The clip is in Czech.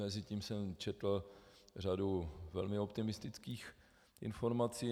Mezitím jsem četl řadu velmi optimistických informací.